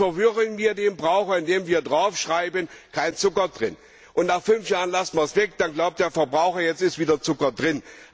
Jetzt verwirren wir den Verbraucher, indem wir draufschreiben Kein Zucker drin. Nach fünf Jahren lassen wir es weg, dann glaubt der Verbraucher, jetzt ist wieder Zucker drin.